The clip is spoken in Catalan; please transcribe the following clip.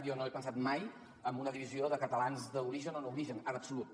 jo no he pensat mai en una divisió de catalans d’origen o no origen en absolut